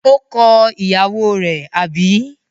Ó kọ ìyàwó rẹ̀, àbí?